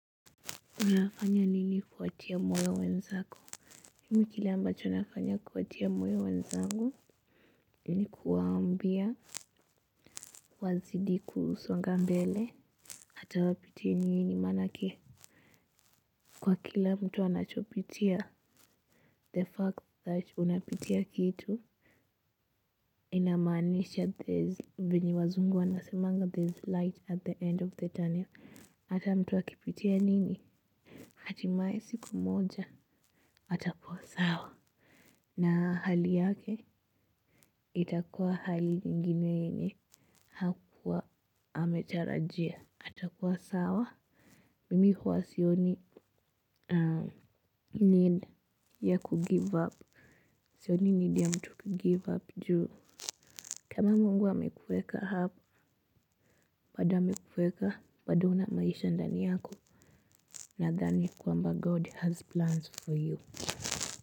Unafanya nini kuwatia moyo wenzako? Mimi kile ambacho nafanya kuwatia moyo wenzangu ni kuwaambia wazidi kusonga mbele hata wapitie nini manake kwa kila mtu anachopitia. The fact that unapitia kitu. Inamanisha there's venye wazungu wanasemanga there's light at the end of the tunnel. Hata mtu akipitia nini? Hatimaye siku moja. Atakuwa sawa. Na hali yake itakuwa hali ingine yenye hakuwa ametarajia. Atakuwa sawa. Mimi huwa sioni need ya kugive up. Sioni need ya mtu kugive up juu. Kama Mungu amekuweka hapo, bado amekuweka, bado una maisha ndani yako nadhani kwamba God has plans for you.